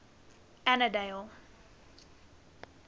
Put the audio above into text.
annandale